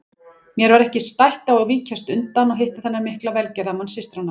Mér var ekki stætt á að víkjast undan að hitta þennan mikla velgerðamann systranna.